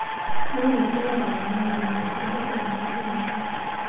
No nĩ tũroraga maũndũ na njĩra ĩrĩa yagĩrĩire.